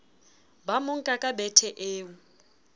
ba monka ka bethe eo